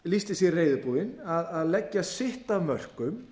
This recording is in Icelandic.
lýsti sig reiðubúinn að leggja sitt af mörkum